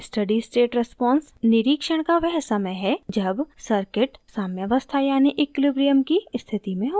steady state response निरिक्षण का वह समय है जब circuit साम्यावस्था यानि ईक्वलिब्रीअम की स्थिति में होता है